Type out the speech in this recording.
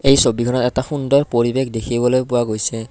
এই ছবিখনত এটা সুন্দৰ পৰিৱেশ দেখিবলৈ পোৱা গৈছে।